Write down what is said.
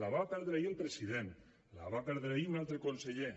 la va perdre ahir el president la va perdre ahir un altre conseller